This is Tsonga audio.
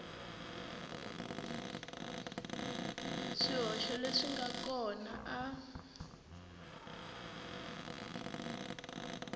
swihoxo leswi nga kona a